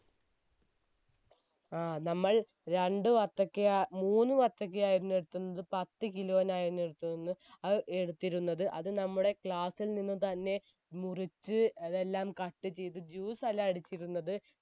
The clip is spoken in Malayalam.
ആ നമ്മൾ രണ്ട് വത്തക്ക മൂന്ന് വത്തക്ക ആയിരുന്നു എടുത്തിരുന്നത് പത്ത് kilo ആയിരുന്നു എടുത്തിരു അത് എടുത്തിരുന്നത് അത് നമ്മുടെ class ൽ നിന്ന് തന്നെ മുറിച്ച് അതെല്ലാം cut ചെയ്ത് juice അല്ല അടിച്ചിരുന്നത്